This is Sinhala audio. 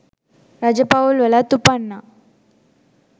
රජ පවුල්වලත් උපන්නා.